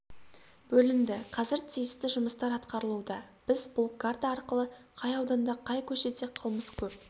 бөлінді қазір тиісті жұмыстар атқарылуда біз бұл карта арқылы қай ауданда қай көшеде қылмыс көп